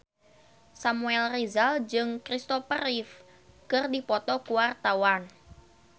Samuel Rizal jeung Kristopher Reeve keur dipoto ku wartawan